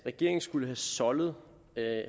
regeringen skulle have soldet